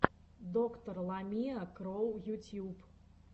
доктор ламиа кроу ютьюб